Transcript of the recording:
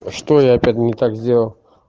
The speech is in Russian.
а что я опять не так сделал